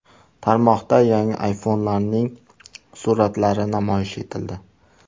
Tarmoqda yangi iPhone’larning suratlari namoyish etildi.